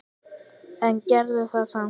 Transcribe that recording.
En gerðu það samt.